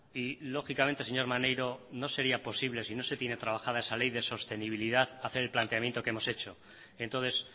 y lógicamente señor maneiro no sería posible si no se tiene trabajada esa ley de sostenibilidad hacer el planteamiento que hemos hecho entonces